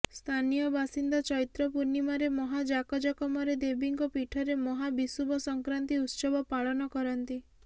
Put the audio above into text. ସ୍ଥାନିୟ ବାସିନ୍ଦା ଚୈତ୍ର ପୂର୍ଣିମାରେ ମହା ଜାକଜମକରେ ଦେବୀଙ୍କ ପୀଠରେ ମହା ବିଷୁବ ସଙ୍କ୍ରାନ୍ତି ଉତ୍ସବ ପାଳନ କରନ୍ତି